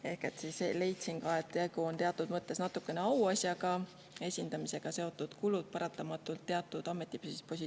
Ehk ma leian, et tegu on teatud mõttes auasjaga ja teatud ametipositsioonidel kaasnevad paratamatult esindamisega seotud kulud.